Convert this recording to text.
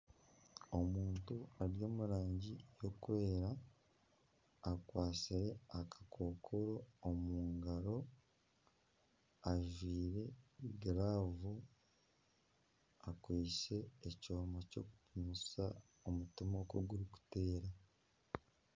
Omuntu ari omu rangi erikwera akwatsire akakookoro omu ngaro. Ajwaire giraavu, akwaitse ekyoma ky'okupimisa omutima oku gurikuteera.